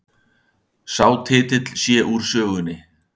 Sá titill sé úr sögunni